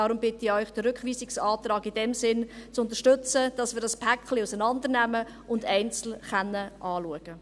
Deshalb bitte ich Sie, den Rückweisungsantrag in diesem Sinne zu unterstützen, dass wir das Paket auseinandernehmen und einzeln anschauen können.